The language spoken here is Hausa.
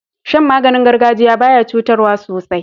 Shan maganin gargajiya baya cutarwa sosai